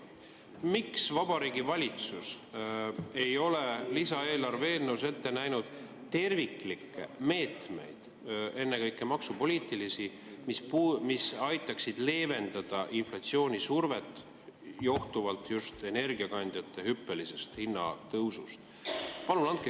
Miks Vabariigi Valitsus ei ole lisaeelarve eelnõus ette näinud terviklikke meetmeid, ennekõike maksupoliitilisi, mis aitaksid leevendada inflatsioonisurvet johtuvalt just energiakandjate hüppelisest hinnatõusust?